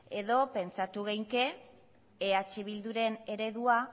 edo pentsatu genezake eh bilduren eredua